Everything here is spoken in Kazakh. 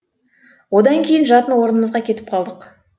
одан кейін жатын орнымызға кетіп қалдық